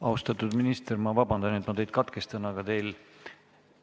Austatud minister, vabandust, et ma teid katkestan, aga